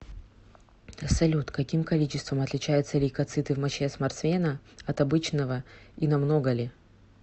салют каким количеством отличаются лейкоциты в моче спортсмена от обычного и намного ли